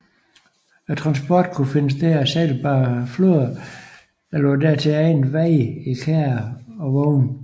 Transporten kunne finde sted ad sejlbare floder eller på dertil egnede veje i kærrer og vogne